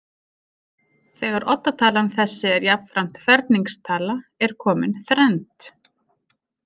Þegar oddatalan þessi er jafnframt ferningstala er komin þrennd.